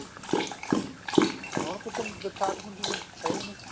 ਹੁਣ ਕਿੱਥੇ ਬਰਸਾਤ ਹੁੰਦੀ ਹੈ ਹੁਣ ਤੇ ਹੈ ਈ ਨੀ